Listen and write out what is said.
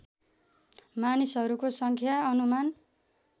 मानिसहरूको सङ्ख्या अनुमान